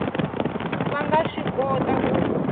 va nga swi kota ku